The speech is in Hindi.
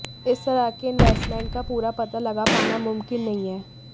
इस तरह के इन्वेस्टमेंट का पूरा पता लगा पाना मुमकिन नहीं है